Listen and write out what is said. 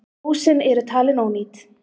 Húsin eru talin ónýt